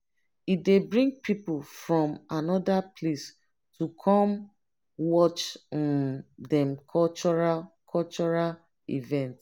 e dey bring people from anoda place to come watch um dem cultural cultural event.